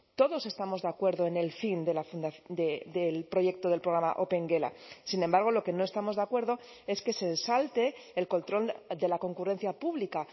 todos estamos de acuerdo en el fin del proyecto del programa opengela sin embargo lo que no estamos de acuerdo es que se salte el control de la concurrencia pública